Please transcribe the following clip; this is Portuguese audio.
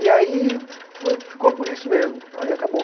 E aí foi, ficou por isso mesmo, aí acabou.